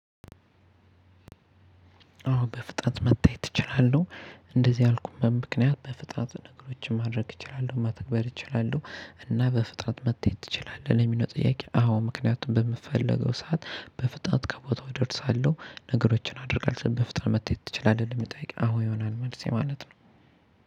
አወ በፍጥነት መታየት እችላለሁ እንደዚህ ያልኩበት ምክንያት በፍጥነት ነገሮችን ማድረግ እችላለሁ ማተግበር እችላለሁ። እና በፍጥረት መታየት ትችላለህ ለሚለው ጥያቄ? አዎ ምክንያቱም በምፈልገው ሰዓት በፍጥነት ከቦታው እደርሳለሁ ነገሮችን አደርጋለሁ። በፍጥነት መተየት ትችላለህ ለሚለው ጥያቄ? አወ ይሆናል መልሴ ማለት ነው።